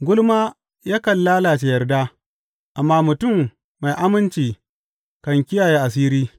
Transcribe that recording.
Gulma yakan lalace yarda, amma mutum mai aminci kan kiyaye asiri.